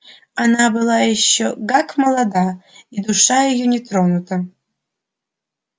она была ещё гак молода и душа её так не тронута